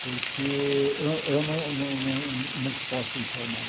Porque eu eu não não não te posso informar.